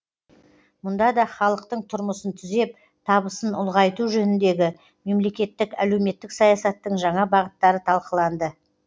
мұнда да халықтың тұрмысын түзеп табысын ұлғайту жөніндегі мемлекеттік әлеуметтік саясаттың жаңа бағыттары талқыланды